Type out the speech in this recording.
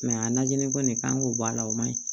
a najini kɔni kan k'o bɔ a la o ma ɲi